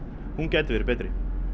hún gæti verið betri